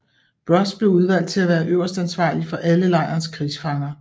Broz blev udvalgt til at være øverstansvarlig for alle lejrens krigsfanger